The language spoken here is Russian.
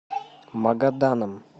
магаданом